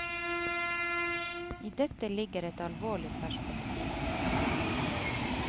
I dette ligger et alvorlig perspektiv.